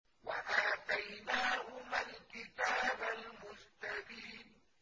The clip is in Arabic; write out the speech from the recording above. وَآتَيْنَاهُمَا الْكِتَابَ الْمُسْتَبِينَ